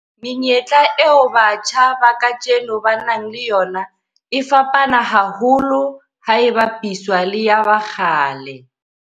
Menyetla eo batjha ba kajeno ba nang le yona e fapane haholo ha e bapiswa le ya ba kgale.